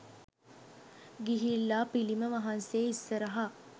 ගිහිල්ලා පිළිම වහන්සේ ඉස්සරහා